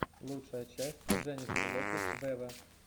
лучшая часть дженнифер лопес вево